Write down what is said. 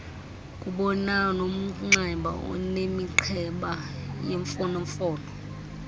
kubanomnxeba onemiqheba yemfonomfono